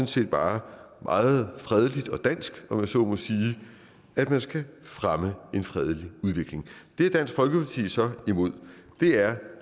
set bare meget fredeligt og dansk om jeg så må sige at man skal fremme en fredelig udvikling det er dansk folkeparti så imod det er